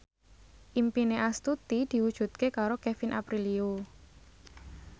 impine Astuti diwujudke karo Kevin Aprilio